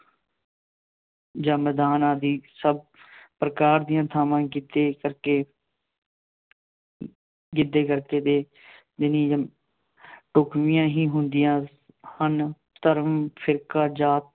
ਜਾਂ ਮੈਦਾਨ ਆਦਿ ਸਭ ਪ੍ਰਕਾਰ ਦੀਆਂ ਥਾਵਾਂ ਹੀ ਗਿੱਧੇ ਕਰਕੇ ਗਿੱਧੇ ਕਰਕੇ ਅਤੇ ਢੁੱਕਵੀਆਂ ਹੀ ਹੁੰਦੀਆਂ ਹਨ। ਧਰਮ, ਫਿਰਕਾ, ਜਾਤ